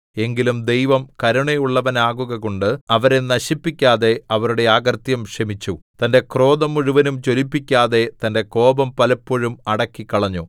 എങ്കിലും ദൈവം കരുണയുള്ളവനാകുകകൊണ്ട് അവരെ നശിപ്പിക്കാതെ അവരുടെ അകൃത്യം ക്ഷമിച്ചു തന്റെ ക്രോധം മുഴുവനും ജ്വലിപ്പിക്കാതെ തന്റെ കോപം പലപ്പോഴും അടക്കിക്കളഞ്ഞു